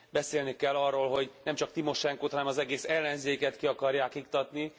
Beszélni kell arról, hogy nemcsak Timosenkót, hanem az egész ellenzéket ki akarják iktatni.